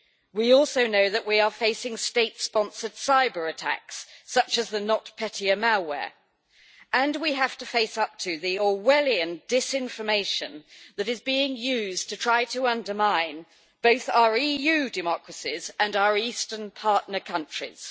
We also know that we are facing state-sponsored cyber attacks, such as the NotPetya malware, and we have to face up to the Orwellian disinformation that is being used to try to undermine both our EU democracies and our eastern partner countries.